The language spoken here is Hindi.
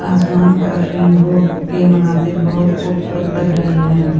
आसमान पर रेनबो के मुनाज़िर बहुत खूबसूरत लग रहे है ।